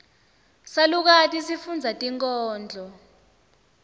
salukati sifundza tinkhondlo